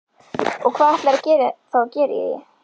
Og hvað ætlarðu þá að gera í því?